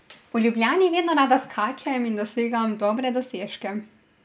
V Ljubljani vedno rada skačem in dosegam dobre dosežke.